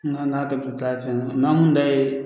N ka n'a ka tɛ maa kun da ye